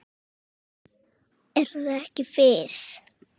Er það ekki Fis?